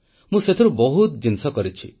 ମୁଁ ସେଥିରୁ ବହୁତ ଜିନିଷ କରିଛି